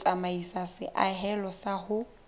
ho tsamaisa seahelo sa ho